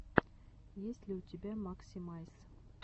есть ли у тебя максимайс